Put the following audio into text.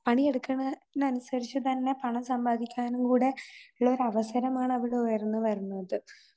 പണിയെടുക്കണ നൻസരിച്ച് തന്നെ പണം സമ്പാദിക്കാനുംകൂടെ ഉള്ളൊരവസരമാണ് അവിടെ ഉയർന്നുവരുന്നത്.